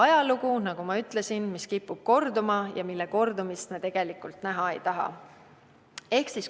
Ajalugu, nagu ma ütlesin, kipub korduma, aga selle kordumist me tegelikult näha ei taha.